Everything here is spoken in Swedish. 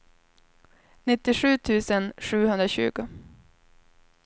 nittiosju tusen sjuhundratjugo